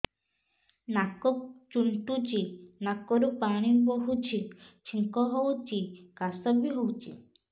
ନାକ ଚୁଣ୍ଟୁଚି ନାକରୁ ପାଣି ବହୁଛି ଛିଙ୍କ ହଉଚି ଖାସ ବି ହଉଚି